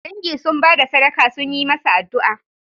Dangi sun ba da sadaka sun yi masa addu'a